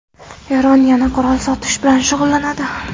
Eron yana qurol sotish bilan shug‘ullanadi.